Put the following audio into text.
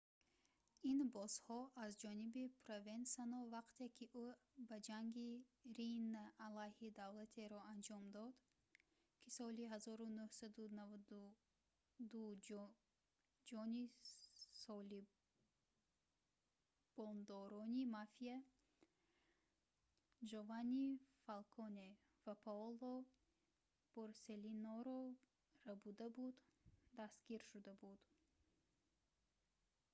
ин боссҳо аз ҷониби провенсано вақте ки ӯ ба ҷанги риина алайҳи давлатеро анҷом дод ки соли 1992 ҷони салибондорони мафия ҷованни фалконе ва паоло борселлиноро рабурда буд дастгир шуда буд